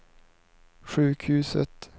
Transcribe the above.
sjukhuset